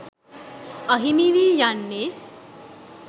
අහිමි වී යන්නේ